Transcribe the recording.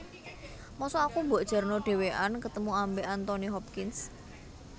Mosok aku mbok jarno dewean ketemu ambek Anthony Hopkins